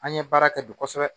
An ye baara kɛ bi kosɛbɛ